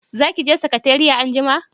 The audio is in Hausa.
Za ki je sakatariya anjima?